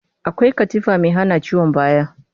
Akwai katifa mai hana ciwon baya